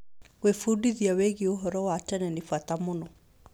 Gwĩbundithia wĩgiĩ ũhoro wa tene nĩ bata mũno.